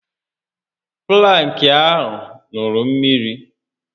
Plank a ṅụrụ mmiri